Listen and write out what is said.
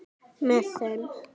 Með þeim